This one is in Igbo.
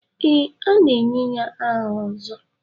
Ee, a ga-enye ya aha Ozo.